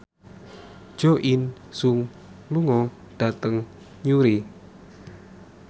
Jo In Sung lunga dhateng Newry